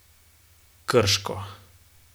Krško.